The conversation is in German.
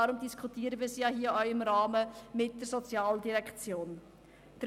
Deshalb diskutieren wir ja auch hier im Rahmen mit der Sozialdirektion darüber.